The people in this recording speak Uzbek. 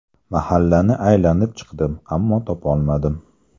Mahallani aylanib chiqdim, ammo topolmadim.